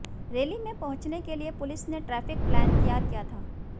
rally में पहुंचने के लिए पुलिस ने ट्रैफिक प्लान तैयार किया था